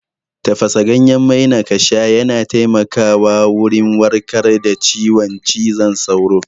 Tafasa ganyen maina kasha yana taimaka wa wurin warkar da ciwon cizon sauro